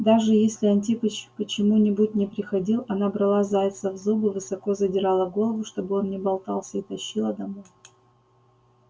даже если антипыч почему-нибудь не приходил она брала зайца в зубы высоко задирала голову чтобы он не болтался и тащила домой